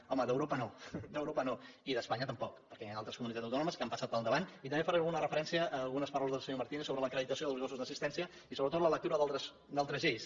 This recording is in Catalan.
home d’europa no i d’espanya tampoc perquè hi han altres comunitats autònomes que han passat pel davant i també faré una referència a algunes paraules del senyor martínez sobre l’acreditació dels gossos d’assistència i sobretot la lectura d’altres lleis